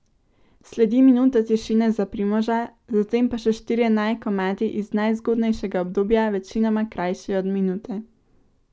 Sledi minuta tišine za Primoža, zatem pa še štirje naj komadi iz najzgodnejšega obdobja, večinoma krajši od minute.